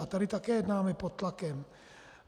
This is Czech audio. A tady taky jednáme pod tlakem.